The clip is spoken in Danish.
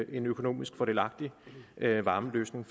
en økonomisk fordelagtig varmeløsning